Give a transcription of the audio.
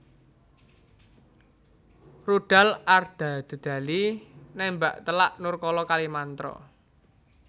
Rudal Ardadedali nembak telak Nurkala Kalimantra